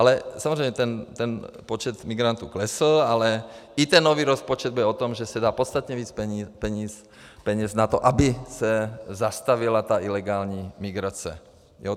Ale samozřejmě ten počet migrantů klesl, ale i ten nový rozpočet bude o tom, že se dá podstatně více peněz na to, aby se zastavila ta ilegální migrace.